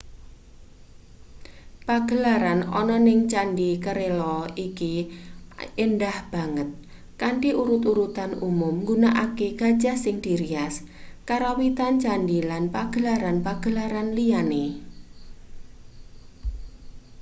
pagelaran ana ning candhi kerala iki endah banget kanthi urut-urutan umum nggunakake gajah sing dirias karawitan candhi lan pagelaran-pagelaran liyane